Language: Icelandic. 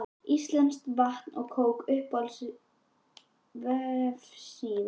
íslenskt vatn og kók Uppáhalds vefsíða?